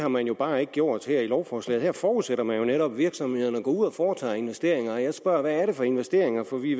har man bare ikke gjort her i lovforslaget her forudsætter man netop at virksomhederne går ud og foretager investeringer og jeg spørger hvad det er for investeringer for vi